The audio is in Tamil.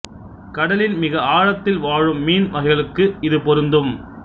கடலின் மிக ஆழத்தில் வாழும் மீன் வகைகளுக்கும் இது பொருந்தும்